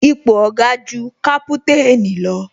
Ipò Oga ju kaputanni lọ